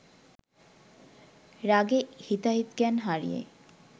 রাগে হিতাহিত জ্ঞান হারিয়ে